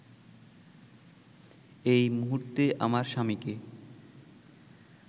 এই মুহূর্তে আমার স্বামীকে